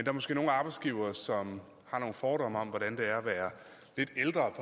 er måske nogle arbejdsgivere som har nogle fordomme om hvordan det er at være lidt ældre